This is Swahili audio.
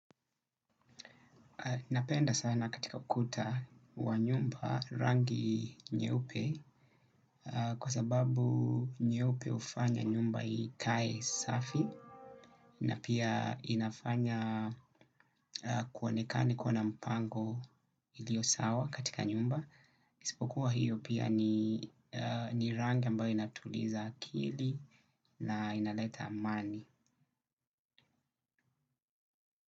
Napenda sana katika ukuta wa nyumba rangi nyeupe kwa sababu nyeupe hufanya nyumba ikae safi na pia inafanya kuonekane kuna na mpango iliyo sawa katika nyumba. Isipokuwa hiyo pia ni rangi ambayo inatuliza akili na inaleta amani.